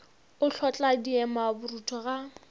o hlotla diema borutho ga